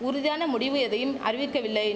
உறுதியான முடிவு எதையும் அறிவிக்கவில்லை